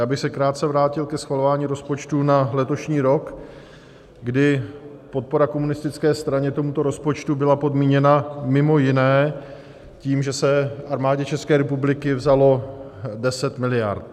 Já bych se krátce vrátil ke schvalování rozpočtu na letošní rok, kdy podpora komunistické straně tomuto rozpočtu byla podmíněna mimo jiné tím, že se Armádě České republiky vzalo 10 miliard.